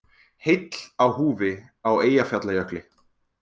Heill á húfi á Eyjafjallajökli